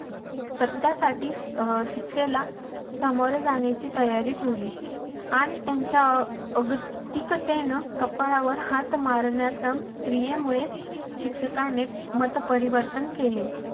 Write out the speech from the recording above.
सत्यासाठी शिक्षेला सामोरे जाण्याची तयारी ठेवली आणि त्यांच्या कपाळावर हात मारण्याचा क्रियेमुळे शिक्षकाने मतपरिवर्तन केले.